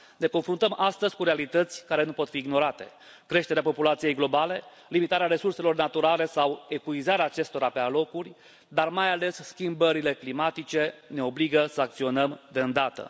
Ne confruntăm astăzi cu realități care nu pot fi ignorate creșterea populației globale, limitarea resurselor naturale sau epuizarea acestora pe alocuri, dar mai ales schimbările climatice ne obligă să acționăm de îndată.